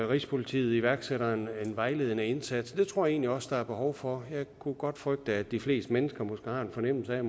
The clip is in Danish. rigspolitiet iværksætter en vejledende indsats det tror jeg egentlig også der er behov for jeg kunne godt frygte at de fleste mennesker måske har en fornemmelse af at